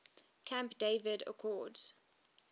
camp david accords